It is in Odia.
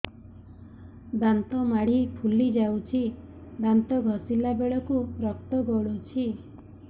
ଦାନ୍ତ ମାଢ଼ୀ ଫୁଲି ଯାଉଛି ଦାନ୍ତ ଘଷିଲା ବେଳକୁ ରକ୍ତ ଗଳୁଛି